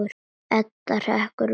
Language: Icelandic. Edda hrekkur við.